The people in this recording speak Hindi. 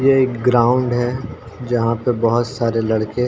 यह एक ग्राउंड है जहाँ पे बोहोत सारे लडके --